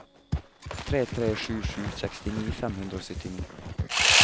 tre tre sju sju sekstini fem hundre og syttini